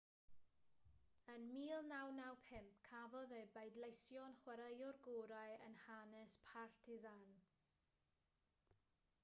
ym 1995 cafodd ei bleidleisio'n chwaraewr gorau yn hanes partizan